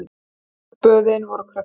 Þurraböðin voru kröftug.